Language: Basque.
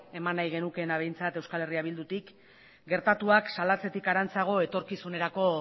eman nahi genukeela behintzat euskal herria bildutik gertatuak salatzetik harantzako etorkizunerako